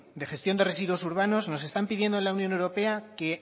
de gestión de residuos urbanos nos están pidiendo en la unión europa que